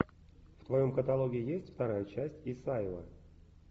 в твоем каталоге есть вторая часть исаева